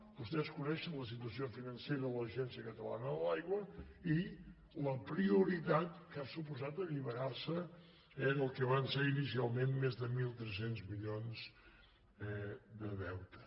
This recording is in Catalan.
vostès coneixen la situació financera de l’agència catalana de l’aigua i la prioritat que ha suposat alliberar se del que van ser inicialment més de mil tres cents milions de deute